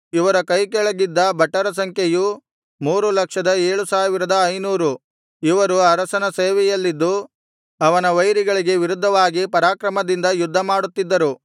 ಇವರ ಕೈಕೆಳಗಿದ್ದ ಭಟರ ಸಂಖ್ಯೆಯು ಮೂರು ಲಕ್ಷದ ಏಳು ಸಾವಿರದ ಐನೂರು ಇವರು ಅರಸನ ಸೇವೆಯಲ್ಲಿದ್ದು ಅವನ ವೈರಿಗಳಿಗೆ ವಿರುದ್ಧವಾಗಿ ಪರಾಕ್ರಮದಿಂದ ಯುದ್ಧಮಾಡುತ್ತಿದ್ದರು